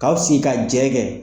K'aw sigi ka jɛ kɛ